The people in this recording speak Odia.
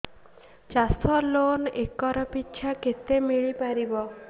ଚାଷ ଲୋନ୍ ଏକର୍ ପିଛା କେତେ ମିଳି ପାରିବ